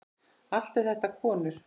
Allt eru þetta konur.